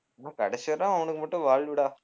ஆனால் கடைசிவரை அவனுக்கு மட்டும் வாழ்வுடா